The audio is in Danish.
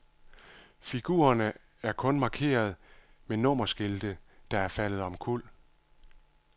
Figurerne er kun markeret med nummerskilte, der er faldet omkuld.